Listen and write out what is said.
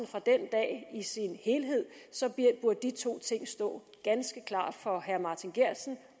fra den dag i sin helhed burde de to ting stå ganske klart for herre martin geertsen